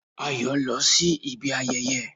Ayọ̀ ló lọ sí ibi ayẹyẹ